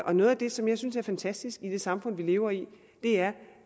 og noget af det som jeg synes er fantastisk i det samfund som vi lever i er